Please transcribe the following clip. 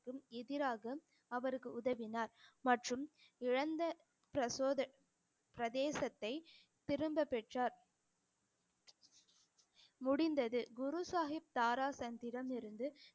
எதிராக அவருக்கு உதவினார் மற்றும் இழந்த பிரசோத~ பிரதேசத்தை திரும்பப் பெற்றார் முடிந்தது குரு சாஹிப் இருந்து